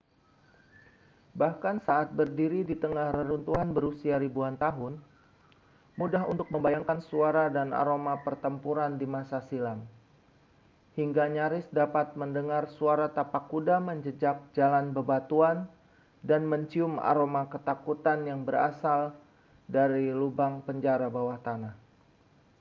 bahkan saat berdiri di tengah reruntuhan berusia ribuan tahun mudah untuk membayangkan suara dan aroma pertempuran di masa silam hingga nyaris dapat mendengar suara tapak kuda menjejak jalan bebatuan dan mencium aroma ketakutan yang berasal dari lubang penjara bawah tanah